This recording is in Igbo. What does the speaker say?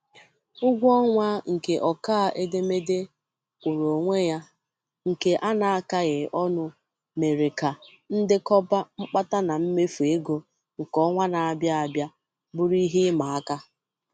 Ụgwọ ọnwa nke ọkaa edemede kwụụrụ onwe ya nke ana-akaghị ọnụ mèrè kà ndekọba mkpata na mmefu ego nke ọnwa na-abịa abịa bụrụ ìhè ịma aka.